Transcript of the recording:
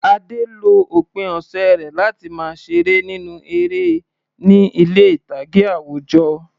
Ade lo òpin ọ̀sẹ̀ rẹ̀ láti máa ṣeré nínú eré ní ilé ìtàgé àwùjọ.